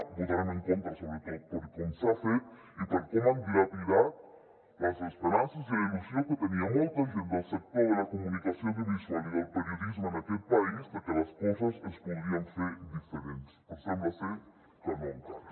hi votarem en contra sobretot per com s’ha fet i per com han dilapidat les esperances i la il·lusió que tenia molta gent del sector de la comunicació audiovisual i del periodisme en aquest país perquè les coses es podrien fer diferents però sembla ser que no encara